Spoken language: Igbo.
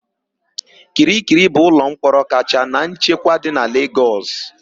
Kirikiri bụ ụlọmkpọrọ kacha na nchekwa dị na Legọs.